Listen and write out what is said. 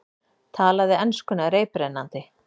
Talaði enskuna reiprennandi.